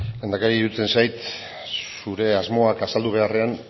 lehendakari iruditzen zait zure asmoak azaldu beharrean